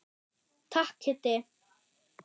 Takk Kiddi.